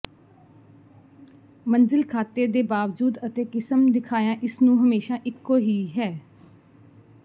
ਮੰਜ਼ਿਲ ਖਾਤੇ ਦੇ ਬਾਵਜੂਦ ਅਤੇ ਕਿਸਮ ਦਿਖਾਇਆ ਇਸ ਨੂੰ ਹਮੇਸ਼ਾ ਇੱਕੋ ਹੀ ਹੈ